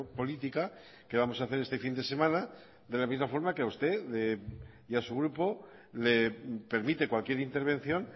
política que vamos a hacer este fin de semana de la misma forma que a usted y a su grupo le permite cualquier intervención